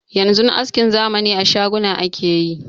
Yanzu askin zamani a shaguna ake yi.